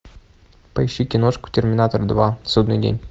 поищи киношку терминатор два судный день